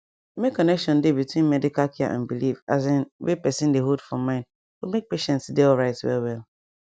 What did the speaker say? make connection dey between medical care and belief asin wey person dey hold for mind go make patient dey alright well well